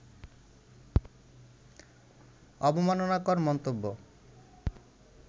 অবমাননাকর মন্তব্য